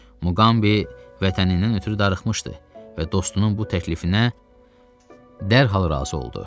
Muqambi vətənindən ötrü darıxmışdı və dostunun bu təklifinə dərhal razı oldu.